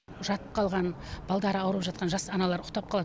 жатып қалған балдары ауырып жатқан жас аналар ұйықтап қалады